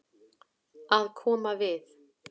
Að koma við